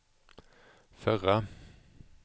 förra